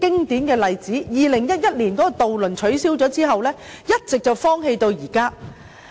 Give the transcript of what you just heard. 渡輪在2011年取消後，碼頭一直荒棄至今。